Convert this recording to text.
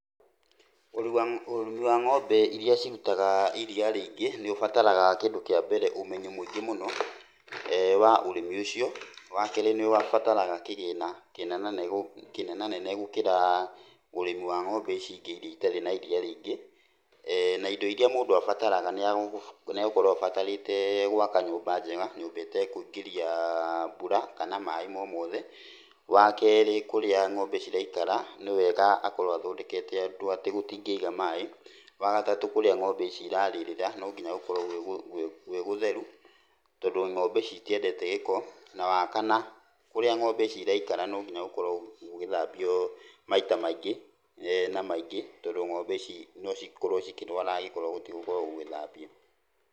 Ũrori wa ng'ombe iria cirutaga iria rĩingĩ, nĩ ũbataraga kĩndũ kĩa mbere ũmenyo mũingĩ mũno, wa ũrĩmi ũcio, wa kerĩ nĩ ũbataraga kĩgĩna kĩnena nene gũkĩra ũrĩmi wa ng'ombe ici ingĩ iria itarĩ na iriia rĩingĩ, na indo iria mũndũ abataraga nĩegũkorwo abatarĩte gwaka nyũmba njega, nyũmba ĩtekũingĩria mbura, kana maaĩ mo mothe, wa kerĩ kũrĩa ng'ombe ciraikara, nĩ wega akorwo athondekete ũndũ atĩ gũtingĩiga maaĩ, wa gatatũ kũrĩa ng'ombe ici irarĩrĩra, no nginya gũkorwo gwĩ gũtheru, tondũ ng'ombe ici itiendete gĩko, na wa kana, kũrĩa ng'ombe ici iraikara no nginya gũkorwo gũgĩthambio maita maingĩ, na maingĩ, tondũ ng'ombe ici nocikorwo cikĩrwara angĩkorwo gũtigũgĩkorwo gũgĩthambio.